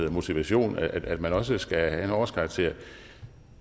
motivation at man også skal have en årskarakter